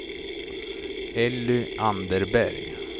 Elly Anderberg